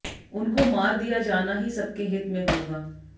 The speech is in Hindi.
उनको मार दिया जाना ही सबके हित में होगा